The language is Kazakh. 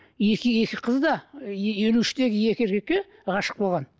екі екі қыз да елу үштегі екі еркекке ғашық болған